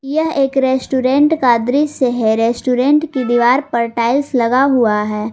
यह एक रेस्टोरेंट का दृश्य है रेस्टोरेंट की दीवार पर टाइल्स लगा हुआ है।